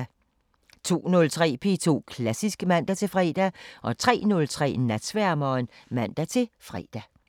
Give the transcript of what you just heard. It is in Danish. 02:03: P2 Klassisk (man-fre) 03:03: Natsværmeren (man-fre)